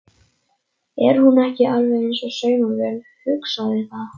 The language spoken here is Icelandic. Er hún ekki alveg eins og saumavél, hugsaði það.